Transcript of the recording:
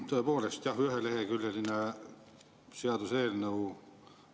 Tõepoolest jah, üheleheküljeline seaduseelnõu.